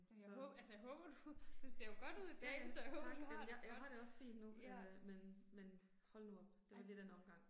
Så. Ja ja, tak, jamen jeg jeg har det også fint nu, men øh men men hold nu op, det var lidt af en omgang